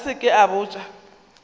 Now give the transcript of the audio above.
a se ke a botša